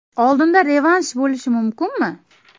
Oldinda revansh bo‘lishi mumkinmi?